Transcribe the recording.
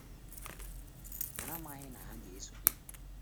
Ha amaghị na ha ga esonye,